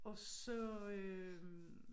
Og så øh